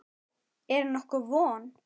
Er nokkur von?